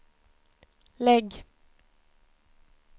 lägg